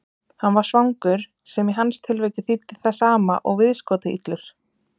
Hann var svangur, sem í hans tilviki þýddi það sama og viðskotaillur.